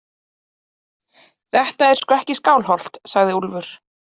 Þetta er sko ekki Skálholt, sagði Úlfur.